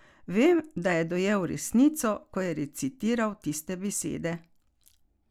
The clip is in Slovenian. Vem, da je dojel resnico, ko je recitiral tiste besede.